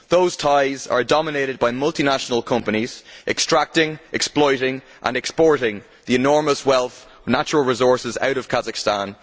Those ties are dominated by multinational companies extracting, exploiting and exporting the enormous wealth of natural resources out of Kazakhstan.